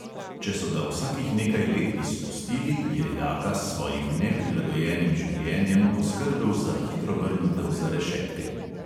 Če so ga vsakih nekaj let izpustili, je jaka s svojim neprilagojenim življenjem poskrbel za hitro vrnitev za rešetke.